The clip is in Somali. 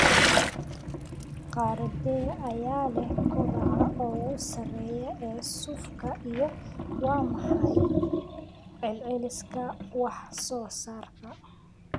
Qaaraddee ayaa leh kobaca ugu sarreeya ee suufka iyo waa maxay celceliska wax soo saarka